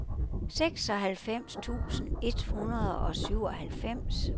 seksoghalvfems tusind et hundrede og syvoghalvfems